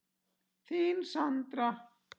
Þín, Sandra.